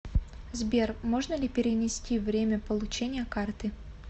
сбер можно ли перенести время получения карты